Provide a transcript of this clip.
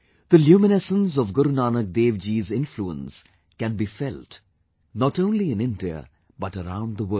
The luminescence of Guru Nanak Dev ji's influence can be felt not only in India but around the world